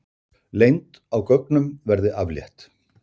Leynd á gögnum verði aflétt